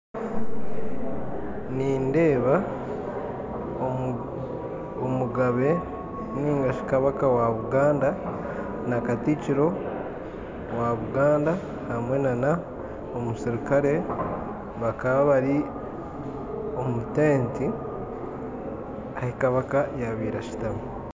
Nindeba omugabe ningashi Kabaka wa'buganda na katikiro wa Buganda hamwenana omusirikare bakaba bari omu'tenti ahi Kabaka yabire asitami.